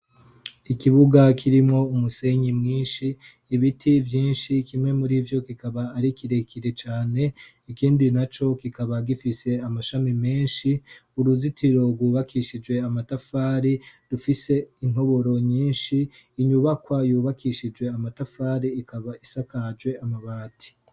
ikibuga kirimo umusenyi mwinshi ibiti byinshi kimwe muri vyo kikaba ari kirekire cyane ikindi na co kikaba gifise amashami menshi uruzitiro rwubakishije amatafari dufise intoboro nyinshi inyubakwa yubakishije amatafari ikaba isakaje amabati